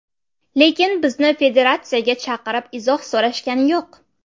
Lekin bizni federatsiyaga chaqirib, izoh so‘rashgani yo‘q.